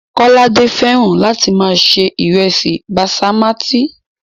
Kọ́ládé fẹ́ràn láti máa se ìrẹsì basimátí